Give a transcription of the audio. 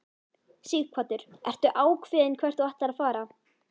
Sighvatur: Ertu ákveðinn hvert þú ætlar að fara?